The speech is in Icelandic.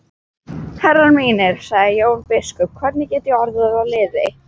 Herrar mínir, sagði Jón biskup,-hvernig get ég orðið að liði?